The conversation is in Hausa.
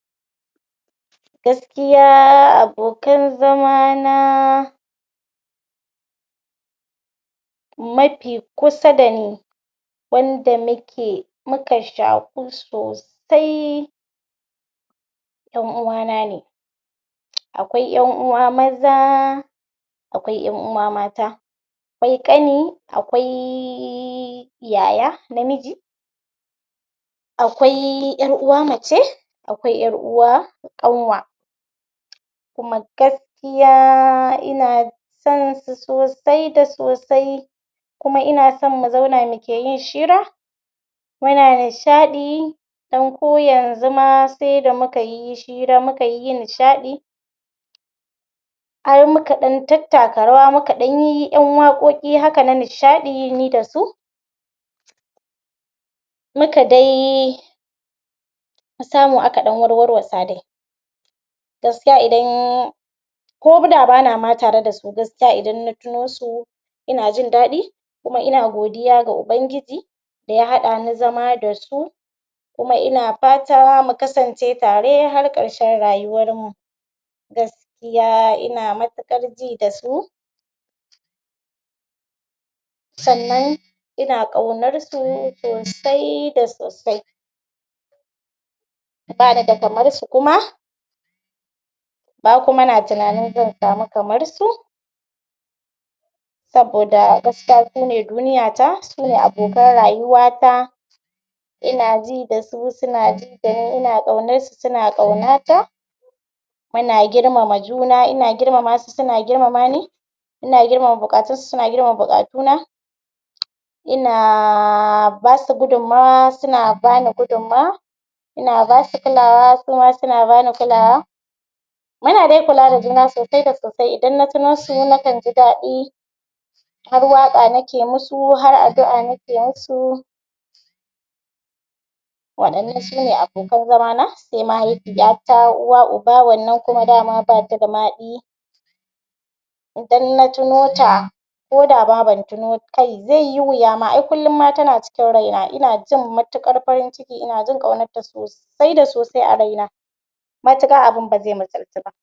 Gaskiya abokan zamana mafi kusa da ni wanda muke muka shaƙu sosai ƴan uwana ne. Akwai ƴan uwa maza akwai ƴan uwa mata akwai ƙani akwai yaya namiji akwai ƴar uwa mace akwai ƴar uwa ƙanwa kuma gaskiya ina son su sosai da sosai kuma ina son mu zauna muke yi shira muna nishaɗi don ko yanzu ma sai da muka yi shira muka yi nishaɗi har muka ɗan tattaka rawa muka ɗan yiyi waƙoƙi haka na nishaɗi ni da su muka dai a ka samu aka ɗan dai warwasa dai Gaskiya idan ko da bana ma tare da su gaskiya idan na tuno su ina jin daɗi kuma in agodiya ga ubangiji da ya haɗa ni zama da su. Kuma ina fata mu kasance tare har ƙarshen rayuwarmu. Gaskiya ina matuƙar ji da su sannan ina ƙaunarsu sosai da sosai ba ni da kamarsu kuma. Ba kuma na tunani zan samu kamarsu Saboda gaskiya su ne duniyata, su ne abokanin rayuwata Ina ji da su, suna ji dani ina ƙaunarsu suna ƙaunata muna girmama juna, ina girmama su suna girmamani ina girmama nbuƙatunsu suna girmama buƙatuna. Ina ba su gudumawa suna ba ni gudumawa ina ba su kulawa suna ba ni kulawa muna dai kula da juna sosai da sosai idan na tuno su nakan ji daɗi har waƙa nike musu, har addua'a nike musu waɗannan su ne abokan zaman sai mahaifiyata uwa uba wannan dai dama ba ta da mahaɗi idan na tuno ta ko da ma ban tuno ta ba kai zai yi wuya ma ai kullum ma tana cikin raina ina jin matuƙar farin ciki ina jin ƙaunarta sosai. sosai da sosai a raina matuƙar abun ba zai misaltu ba.